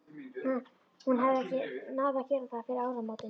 Hún hafði ekki náð að gera það fyrir áramótin.